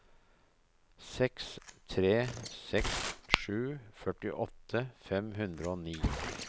seks tre seks sju førtiåtte fem hundre og ni